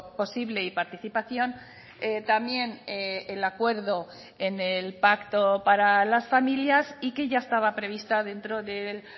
posible y participación también el acuerdo en el pacto para las familias y que ya estaba prevista dentro del